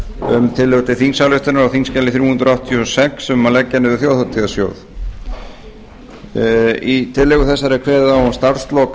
um tillögu til þingsályktunar á þingskjali þrjú hundruð áttatíu og sex um að leggja niður þjóðhátíðarsjóð í tillögu þessari er kveðið á um starfslok